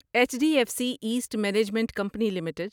H D F C asset management company limited